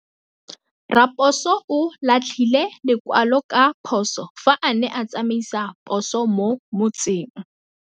Raposo o latlhie lekwalô ka phosô fa a ne a tsamaisa poso mo motseng.